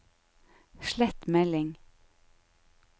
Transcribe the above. slett melding